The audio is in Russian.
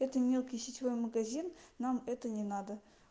это мелкий сетевой магазин нам это не надо